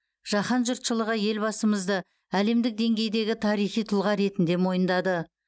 жаһан жұртшылығы елбасымызды әлемдік деңгейдегі тарихи тұлға ретінде мойындады